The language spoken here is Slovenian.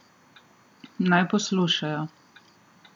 Naj poslušajo.